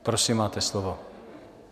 Prosím, máte slovo.